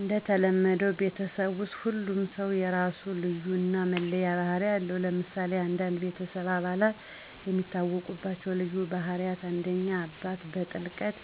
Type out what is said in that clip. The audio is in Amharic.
እንደተለመደው ቤተሰብ ውስጥ ሁሉም ሰው የራሱ ልዩነት እና መለያ ባህሪ አለው። ለምሳሌ አንዳንድ የቤተሰብ አባላት የሚታወቁባቸው ልዩ ባህሪያት: 1. አባት: በጥልቀት